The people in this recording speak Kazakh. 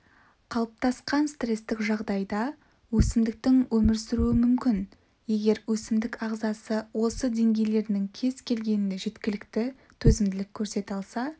қалыптасқан стрестік жағдайда өсімдіктің өмір сүруі мүмкін егер өсімдік ағзасы осы деңгейлерінің кез-келгенінде жеткілікті төзімділік көрсете алса